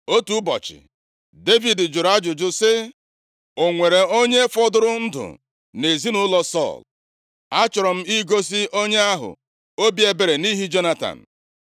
Otu ụbọchị, Devid jụrụ ajụjụ sị, “O nwere onye fọdụrụ ndụ nʼezinaụlọ Sọl? Achọrọ m igosi onye ahụ obi ebere nʼihi Jonatan.”